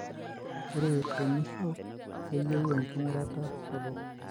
ore temuisho, keyieu engurata sapuk.